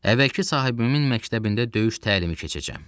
Əvvəlki sahibimin məktəbində döyüş təlimi keçəcəm.